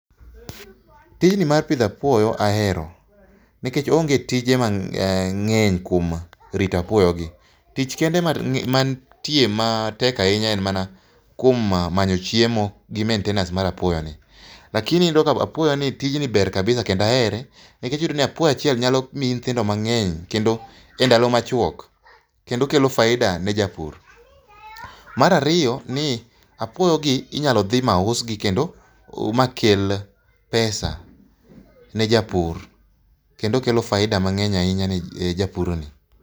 Tijni mar pidho apuoyo ahero nikech oonge tije mangeny kuom rito apuoyo gi. Tich kende mantie ma tek ahinya en mana kuom manyo chiemo gi maintenance mar apuoyo ni. Lakini iyudo ka apuoyo nni tijni ber kendo ahere nikech iyudo ni apuoyo achiel nyalo miyi nyithindo mangeny e ndalo machuok kendo kelo faida ne japur. Mar ariyo ni apuoyo gi inyalo dhi usgi makel pesa ne japur kendo kelo faida[sc] mangeny ne japur ni